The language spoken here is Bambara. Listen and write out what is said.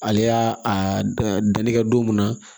Ale y'a a danni kɛ don mun na